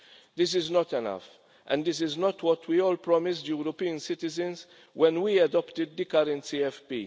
This is not enough, and this is not what we all promised European citizens when we adopted the current CFP.